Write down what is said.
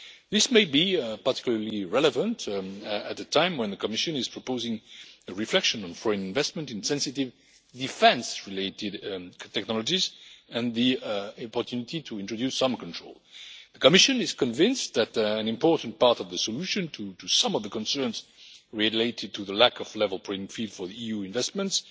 This may be particularly relevant at a time when the Commission is proposing a reflection on foreign investment in sensitive defence related technologies and the opportunity to introduce some control. The Commission is convinced that an important part of the solution to some of the concerns related to the lack of a level playing field for EU investments